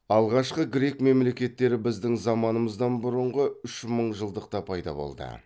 алғашқы грек мемлекеттері біздің заманымыздан бұрынғы үш мыңжылдықта пайда болды